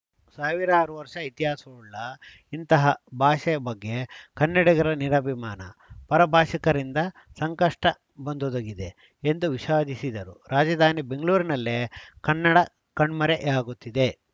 ಸಾವಿರಾರು ವರ್ಷ ಇತಿಹಾಸವುಳ್ಳ ಇಂತಹ ಭಾಷೆ ಬಗ್ಗೆ ಕನ್ನಡಿಗರ ನಿರಭಿಮಾನ ಪರ ಭಾಷಿಕರಿಂದ ಸಂಕಷ್ಟಬಂದೊದಗಿದೆ ಎಂದು ವಿಷಾದಿಸಿದರು ರಾಜಧಾನಿ ಬೆಂಗಳೂರಿನಲ್ಲೇ ಕನ್ನಡ ಕಣ್ಮರೆಯಾಗುತ್ತಿದೆ